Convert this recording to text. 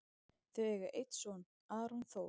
Þau eiga einn son, Aron Þór.